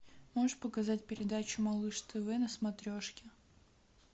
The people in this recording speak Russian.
можешь показать передачу малыш тв на смотрешке